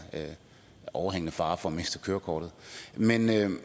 overhængende fare for at miste kørekortet men